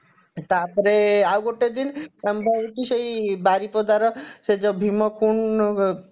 ତାପରେ ଆଉ ଗୋଟେ ଦିନ ଆମର ହଉଛି ସେଇ ବାରିପଦାର ସେଇ ଯଉ ଭୀମକୁଣ୍ଡ